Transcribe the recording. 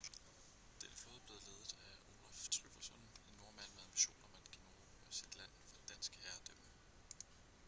denne flåde blev ledet af olaf trygvasson en nordmand med ambitioner om at generobre sit land fra dansk herredømme